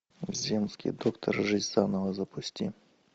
земский доктор жизнь заново запусти